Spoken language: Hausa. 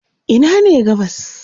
Ina ne gabas?